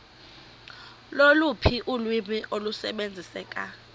loluphi ulwimi olusebenziseka